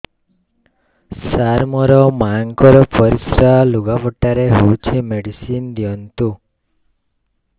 ସାର ମୋର ମାଆଙ୍କର ପରିସ୍ରା ଲୁଗାପଟା ରେ ହଉଚି ମେଡିସିନ ଦିଅନ୍ତୁ